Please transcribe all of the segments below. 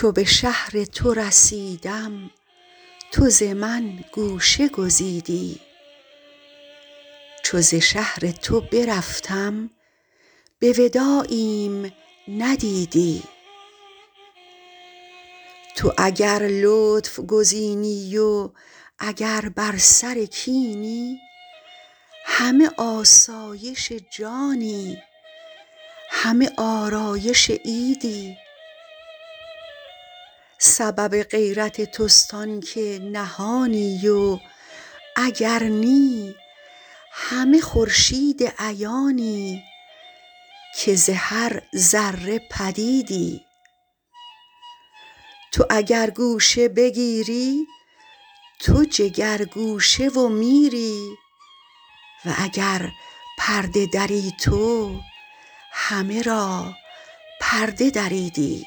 چو به شهر تو رسیدم تو ز من گوشه گزیدی چو ز شهر تو برفتم به وداعیم ندیدی تو اگر لطف گزینی و اگر بر سر کینی همه آسایش جانی همه آرایش عیدی سبب غیرت توست آنک نهانی و اگر نی همه خورشید عیانی که ز هر ذره پدیدی تو اگر گوشه بگیری تو جگرگوشه و میری و اگر پرده دری تو همه را پرده دریدی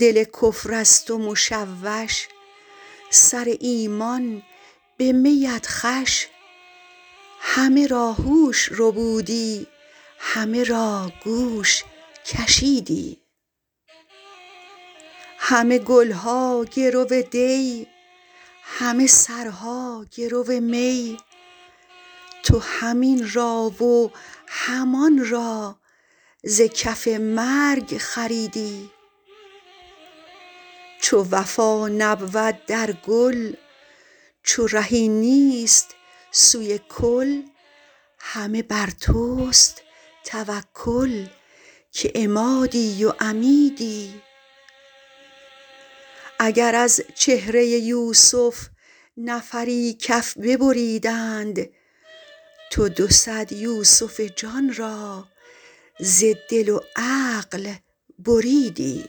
دل کفر از تو مشوش سر ایمان به می ات خوش همه را هوش ربودی همه را گوش کشیدی همه گل ها گرو دی همه سرها گرو می تو هم این را و هم آن را ز کف مرگ خریدی چو وفا نبود در گل چو رهی نیست سوی کل همه بر توست توکل که عمادی و عمیدی اگر از چهره یوسف نفری کف ببریدند تو دو صد یوسف جان را ز دل و عقل بریدی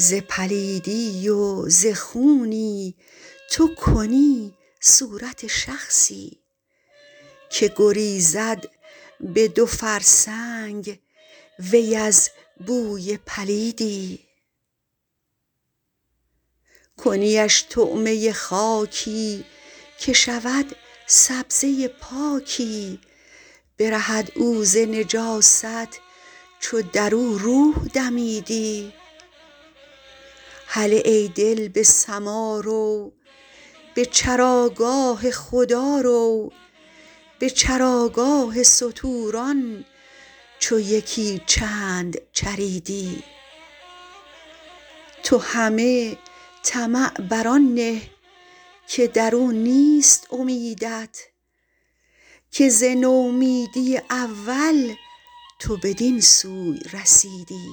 ز پلیدی و ز خونی تو کنی صورت شخصی که گریزد به دو فرسنگ وی از بوی پلیدی کنیش طعمه خاکی که شود سبزه پاکی برهد او ز نجاست چو در او روح دمیدی هله ای دل به سما رو به چراگاه خدا رو به چراگاه ستوران چو یکی چند چریدی تو همه طمع بر آن نه که در او نیست امیدت که ز نومیدی اول تو بدین سوی رسیدی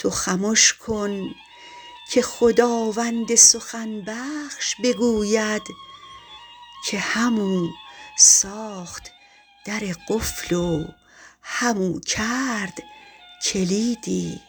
تو خمش کن که خداوند سخن بخش بگوید که همو ساخت در قفل و همو کرد کلیدی